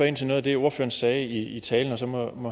ind til noget af det ordføreren sagde i talen og så må